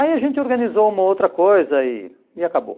Aí a gente organizou uma outra coisa e e acabou.